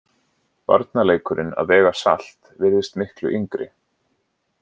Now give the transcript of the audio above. Barnaleikurinn að vega salt virðist miklu yngri.